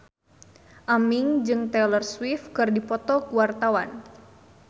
Aming jeung Taylor Swift keur dipoto ku wartawan